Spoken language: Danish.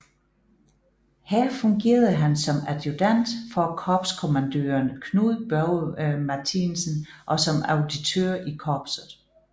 Her fungerede han som adjudant for korpskommandøren Knud Børge Martinsen og som auditør i korpset